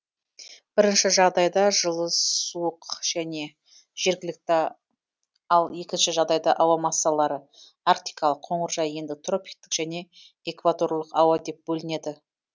бірінші жағдайда жылы суық және жергілікті ал екінші жағдайда ауа массалары арктикалық қоңыржай ендік тропиктік және экваторлық ауа деп бөлінеді